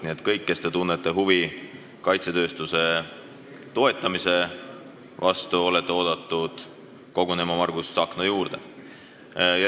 Nii et kõik, kes te tunnete huvi kaitsetööstuse toetamise vastu, olete oodatud kogunema Margus Tsahkna juurde.